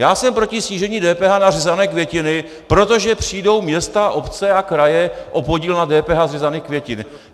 Já jsem proti snížení DPH na řezané květiny, protože přijdou města, obce a kraje o podíl na DPH z řezaných květin.